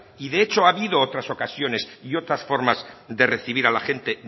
y de hecho ha habido otras ocasiones y otras formas de recibir a la gente